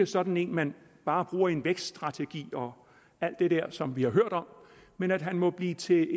sådan en man bare bruger i en vækststrategi og alt det der som vi har hørt om men at han må blive til